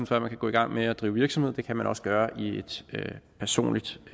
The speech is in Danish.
før man kan gå i gang med at drive virksomhed det kan man også gøre i et personligt